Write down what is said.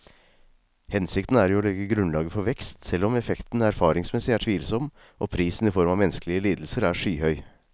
Hensikten er jo å legge grunnlaget for vekst, selv om effekten erfaringsmessig er tvilsom og prisen i form av menneskelige lidelser er skyhøy.